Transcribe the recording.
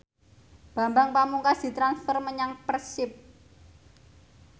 Bambang Pamungkas ditransfer menyang Persib